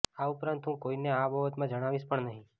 આ ઉપરાંત હું કોઈને આ બાબતમાં જણાવીશ પણ નહીં